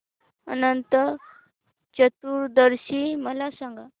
अनंत चतुर्दशी मला सांगा